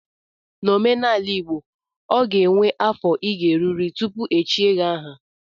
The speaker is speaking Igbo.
N'omenala igbo, o ga enwe afọ ị ga-erurịrị tupu e echie gị aha